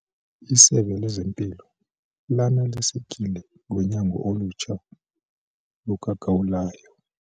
Isebe lezempilo lanelisekile ngonyango olutsha lukagawulayo.